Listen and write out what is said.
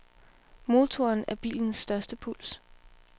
Motoren er bilens største plus.